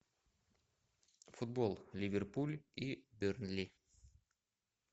футбол ливерпуль и бернли